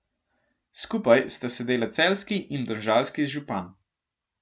Skupaj sta sedela celjski in domžalski župan.